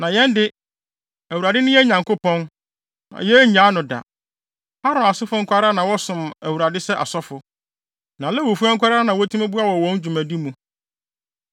“Na yɛn de, Awurade ne yɛn Nyankopɔn, na yennyaa no da. Aaron asefo nko ara na wɔsom Awurade sɛ asɔfo, na Lewifo nko ara na wotumi boa wɔn wɔ wɔn dwumadi mu.